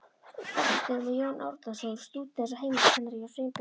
Bessastöðum og Jón Árnason, stúdent og heimiliskennari hjá Sveinbirni